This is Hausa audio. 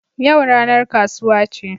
Yau ranar kasuwa ce